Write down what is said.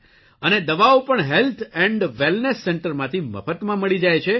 અને દવાઓ પણ હેલ્થ એન્ડ વેલનેસ સેન્ટરમાંથી મફતમાં મળી જાય છે